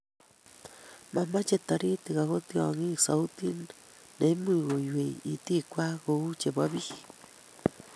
Mamachei toritik ago tyongik sautit nemuch konywei, itikwai kouu chebo biik